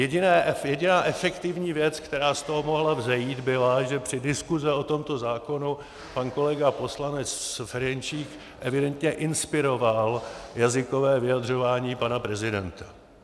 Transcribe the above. Jediná efektivní věc, která z toho mohla vzejít, byla, že při diskusi o tomto zákonu pan kolega poslanec Ferjenčík evidentně inspiroval jazykové vyjadřování pana prezidenta.